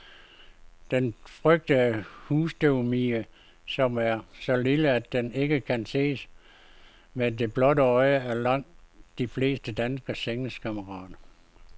Den frygtede husstøvmide, som er så lille, at den ikke kan ses med det blotte øje, er langt de fleste danskeres sengekammerat.